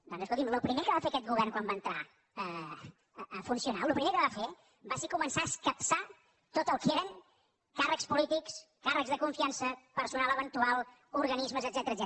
doncs escolti’m el primer que va fer aquest govern quan va entrar a funcionar el primer que va fer va ser començar a escapçar tot el que eren càrrecs polítics càrrecs de confiança personal eventual organismes etcètera